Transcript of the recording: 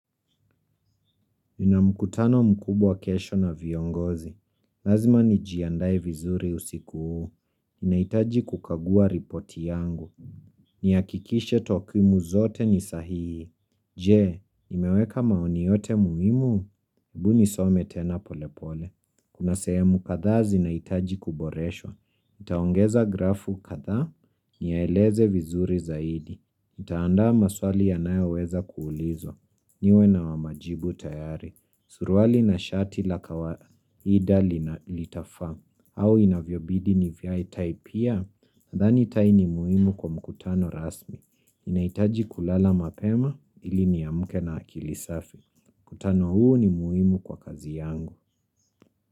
Nina mkutano mkubwa kesho na viongozi. Lazima nijiandaye vizuri usiku huu. Ninaitaji kukagua ripoti yangu. Niakikishe takuimu zote ni sahihi. Je, nimeweka maoni yote muimu? Ebu ni some tena polepole. Kuna sehemu kadhaa zinaitaji kuboreshwa. Nitaongeza grafu kadhaa niyaeleze vizuri zaidi. Nitaanda maswali yanayo weza kuulizwa. Niwe na wamajibu tayari. Suruali na shati la kawaida litafaa au inavyobidi ni vae tai pia nadhani tai ni muhimu kwa mkutano rasmi inaitaji kulala mapema ili niamuke na akili safi. Mkutano huu ni muhimu kwa kazi yangu.